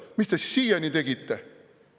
Mis te siis siiani tegite?